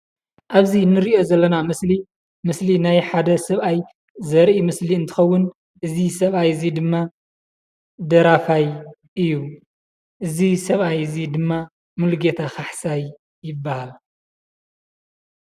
ኣብዚ እንሪኦ ዘለና ምስሊ ምስሊ ናይ ሓደ ሰብኣይ ዘርኢ ምስሊ እንትኸውን እዚ ሰብኣይ እዚ ድማ ደራፋይ እዩ፡፡ እዚ ሰብኣይ እዚ ድማ ሙሉጌታ ካሕሳይ ይበሃል፡፡